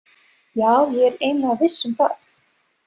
Já, ég er eiginlega viss um það